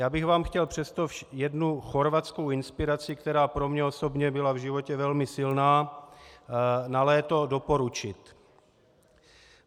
Já bych vám chtěl přesto jednu chorvatskou inspiraci, která pro mě osobně byla v životě velmi silná, na léto doporučit.